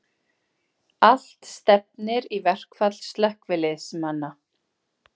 Allt stefnir í verkfall slökkviliðsmanna